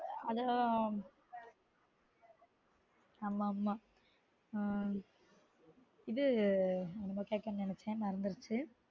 அதே அதே தான் ஆமா ஆமா ஆஹ் இது என்னமோ கேட்கனும் நெனைச்சன் மறந்துருச்சு